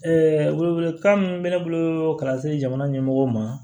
welewelekan min bɛ ne bolo ka se jamana ɲɛmɔgɔw ma